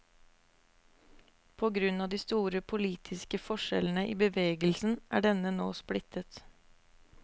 På grunn av de store politiske forskjellene i bevegelsen er denne nå splittet.